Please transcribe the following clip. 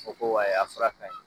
Fɔ ko wayi a fura ka ye